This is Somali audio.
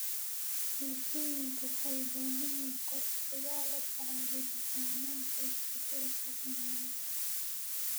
Bulshooyinka waxay u baahan yihiin qorshayaal la tacaalida saameynta isbeddelka cimilada.